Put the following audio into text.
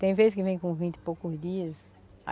Tem vez que vem com vinte e poucos dias.